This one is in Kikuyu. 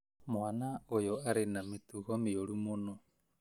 Mwana ũyũ arĩ na mĩtugo mĩũru mũno